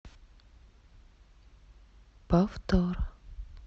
повтор